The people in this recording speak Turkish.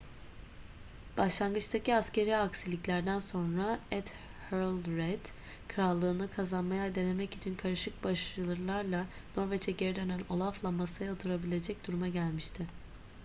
başlangıçtaki askeri aksiliklerden sonra ethelred krallığını kazanmayı denemek için karışık başarılarla norveç'e geri dönen olaf'la masaya oturabilecek duruma gelmişti